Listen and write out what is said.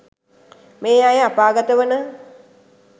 මේ අය අපාගත වන